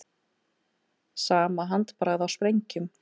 Sama handbragð á sprengjum